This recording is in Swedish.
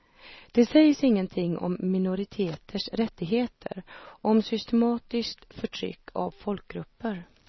Det sägs ingenting om minoriteters rättigheter, om systematiskt förtryck av folkgrupper.